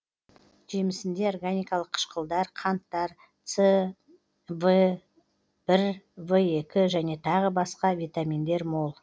жемісінде органикалық қышқылдар қанттар с в бір в екі және тағы басқа витаминдер мол